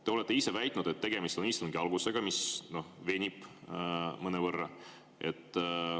Te olete ise väitnud, et tegemist on istungi algusega, mis venib mõnevõrra.